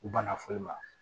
U banna foyi ma